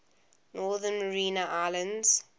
northern mariana islands